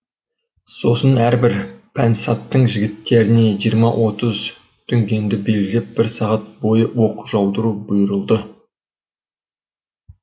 сосын әрбір пәнсаттың жігіттеріне жиырма отыз дүнгенді белгілеп бір сағат бойы оқ жаудыру бұйырылды